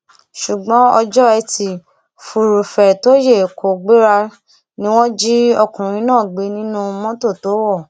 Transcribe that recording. ṣùgbọn ọjọ etí furuufee tó yẹ kó gbéra ni wọn jí ọkùnrin náà gbé nínú mọtò tó wọ